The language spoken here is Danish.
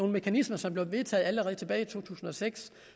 mekanismer som blev vedtaget allerede tilbage i to tusind og seks